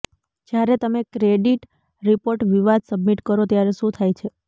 જ્યારે તમે credit report વિવાદ સબમિટ કરો ત્યારે શું થાય છે